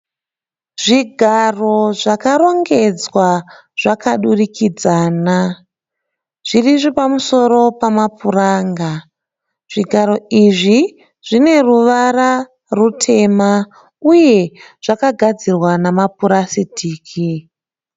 Zvigaro zvakarongedzwa zvakadurikidzana, zviri pamusoro pamapuranga. Zvigaro izvi zvine ruvara rutema uye zvakagadzirwa namapurasitiki.